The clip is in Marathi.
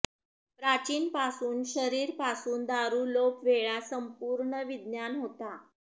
प्राचीन पासून शरीर पासून दारू लोप वेळा संपूर्ण विज्ञान होता